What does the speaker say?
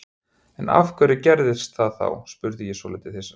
En af hverju gerðirðu það þá? spurði ég svolítið hissa.